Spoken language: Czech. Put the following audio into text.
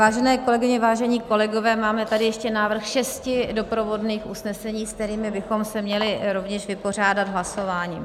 Vážené kolegyně, vážení kolegové, máme tady ještě návrh šesti doprovodných usnesení, s kterými bychom se měli rovněž vypořádat hlasováním.